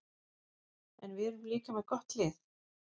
En við erum líka með gott lið.